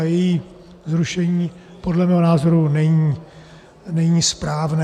A její zrušení podle mého názoru není správné.